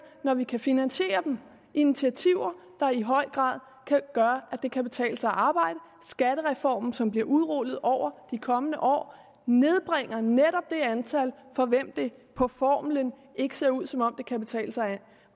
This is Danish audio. når vi kan finansiere dem initiativer der i høj grad kan gøre at det kan betale sig at arbejde skattereformen som bliver udrullet over de kommende år nedbringer netop det antal for hvem det på formlen ikke ser ud som om det kan betale sig